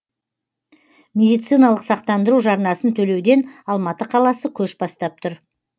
медициналық сақтандыру жарнасын төлеуден алматы қаласы көш бастап тұр